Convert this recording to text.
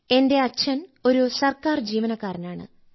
എന്റെ അച്ഛൻ ഒരു സർക്കാർ ജീവനക്കാരനാണ്